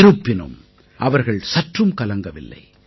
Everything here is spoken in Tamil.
இருப்பினும் அவர்கள் சற்றும் கலங்கவில்லை